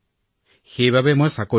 মায়েও মোক কৈছে এই চাকৰি এৰি দিব লাগে